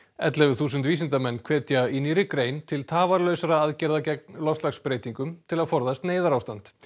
ellefu þúsund vísindamenn hvetja í nýrri grein til tafarlausra aðgerða gegn loftslagsbreytingum til að forðast neyðarástand